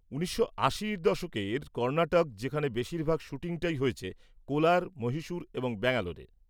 ১৯৮০ দশকের কর্ণাটক, যেখানে বেশিরভাগ শ্যুটিংটাই হয়েছে কোলার, মহীশূর এবং ব্যাঙ্গালোরে।